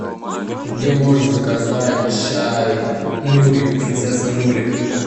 где можно заказать чай нури принцесса нури